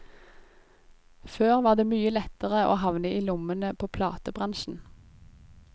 Før var det mye lettere å havne i lommene på platebransjen.